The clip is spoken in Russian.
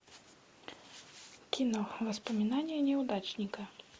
кино воспоминания неудачника